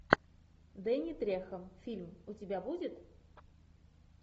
дэнни трехо фильм у тебя будет